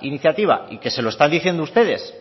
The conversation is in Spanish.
iniciativa y que se lo están diciendo ustedes